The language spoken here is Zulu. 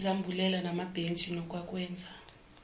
izambulela namabhentshi nokwakwenza